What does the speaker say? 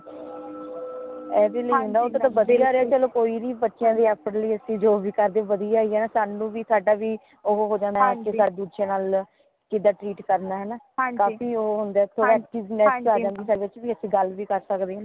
ਏਦੇ ਲਈ ਵਧੀਆ ਰਯਾ ਲੋ ਕੋਈ ਨਹੀਂ ਬੱਚਿਆਂ ਦੇ ਹੱਕ ਲਈ ਚ ਜੋ ਵੀ ਕਰਦੇ ਵਧੀਆ ਹੀ ਹੈ ਸਾਨੂੰ ਵੀ ਸਾਡਾ ਵੀ ਓ ਹੋ ਜਾਣਾ ਇਕ ਦੂਜੇ ਨਾਲ ਕਿਦਾ treat ਕਰਨਾ ਹੈ ਨਾ ਕਾਫ਼ੀ ਉਹ ਹੋਂਦਾ ਥੋੜਾ ਇਸ ਚੀਜ ਦੀ ਏਸ ਚੀਜ ਦੀ ਗੱਲ ਵੀ ਕਰ ਸਕਦੇ ਹੈਨਾ